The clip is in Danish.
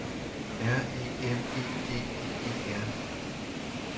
R E M E D I E R